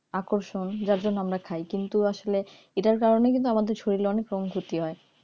আকর্ষণ যার জন্য আমরা খাই কিন্তু আসলে এটার কারণে কিন্তু আমাদের শরীরে অনেক পঙ্গুতি হয়